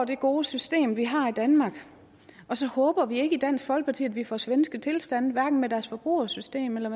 det gode system vi har i danmark og så håber vi ikke i dansk folkeparti at vi får svenske tilstande hverken når deres forbrugersystem eller